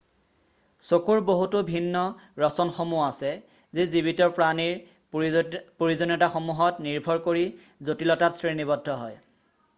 চকুৰ বহুতো ভিন্ন ৰচনসমূহ আছে যি জীৱিত প্ৰাণীৰ প্ৰয়োজনীয়তাসমূহত নিৰ্ভৰ কৰি জটিলতাত শ্ৰেণীবদ্ধ হয়৷